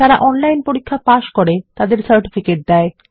যারা অনলাইন পরীক্ষা পাস করে তাদের সার্টিফিকেট দেয়